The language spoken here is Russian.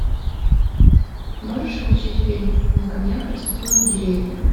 можешь включить фильм и на камнях растут деревья